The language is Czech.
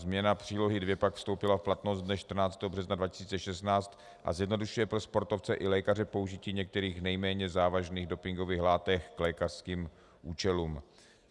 Změna Přílohy II pak vstoupila v platnost dne 14. března 2016 a zjednodušuje pro sportovce i lékaře použití některých nejméně závažných dopingových látek k lékařským účelům.